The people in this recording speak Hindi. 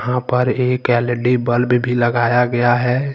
यहां पर एक एल_इ_डी बल्ब भी लगाया गया है।